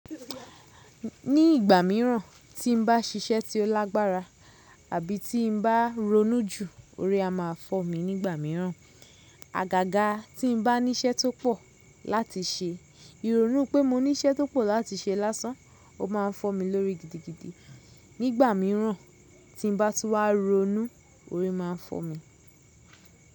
Ní ìgbà mìíràn tí n bá ṣiṣẹ́ tí ó lágbára àbí tí n bá ronú jú, orí a máa fọ́ mi nígbà mìíràn. Àgàgà tí n bá ní iṣẹ́ tó pọ̀ láti ṣe, ìrònú pé mo ní iṣẹ́ tó pọ̀ láti ṣe lásán, ó ma ń fọ́ mi lórí gidigidi. Nígbà mìíràn tí n bá tun wá ronú, orí má a fọ́ mi.